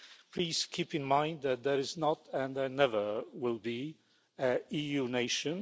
Please keep in mind that there is not, and there never will be, an EU nation.